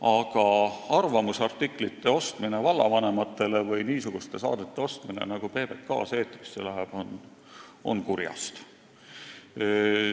Aga vallavanemate arvamusartiklite avaldamine või niisuguste saadete ostmine, nagu PBK-s eetrisse läheb, on kurjast.